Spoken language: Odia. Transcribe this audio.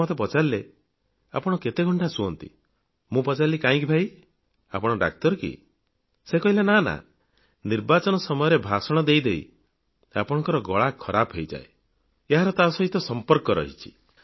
ସେ ମୋତେ ପଚାରିଲେ ଆପଣ କେତେ ଘଣ୍ଟା ଶୁଅନ୍ତି ମୁଁ ପଚାରିଲି କାହିଁକି ଭାଇ ଆପଣ ଡାକ୍ତର କି ସେ କହିଲେ ନା ନା ନିର୍ବାଚନୀ ସମୟରେ ଭାଷଣ ଦେଇ ଦେଇ ଆପଣଙ୍କ ଗଳା ଖରାପ ହୋଇଯାଏ ଏହାର ତା ସହିତ ସମ୍ପର୍କ ରହିଛି